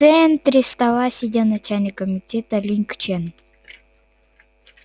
в центре стола сидел начальник комитета линг чен